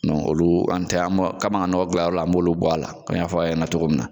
olu an tɛ an be, kabi an ka nɔgɔ gilan yɔrɔ la an b'olu bɔ a la, an y'a fɔ a ye cogo min na.